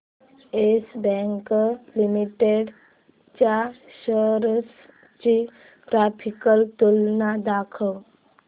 yes Bank Limited च्या shares ची graphical तुलना दाखव